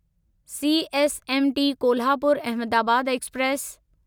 CSMT Kolhapur Ahmedabad express